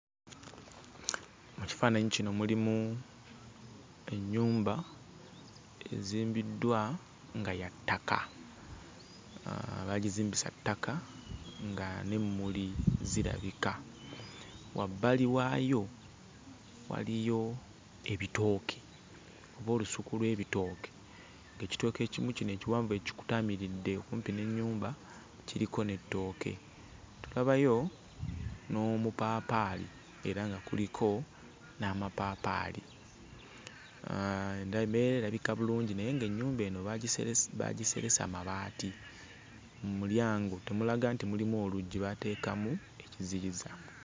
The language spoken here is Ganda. Mu kifaananyi kino mulimu ennyumba ezimbiddwa nga ya ttaka. Ah baagizimbisa ttaka, nga n'emmuli zirabika. Wabbali waayo waliyo ebitooke oba olusuku lw'ebitooke, ng'ekitooke ekimu kino ekiwanvu ekikutaamridde okumpi n'ennyumba kiriko n'ettooke. Tulabayo n'omupaapaali era nga kuliko n'amapaapaali. Ah embeera erabika bulungi naye ng'ennyumba eno baagiseresi baagiseresa mabaati. Mu mulyango temulaga nti mulimu oluggi, baateekamu ekiziyiza.